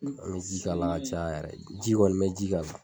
an bɛ ji k'a la ka caya yɛrɛ, ji kɔni n bɛ ji k'a la